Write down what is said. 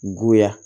Goya